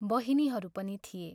बहिनीहरू पनि थिए।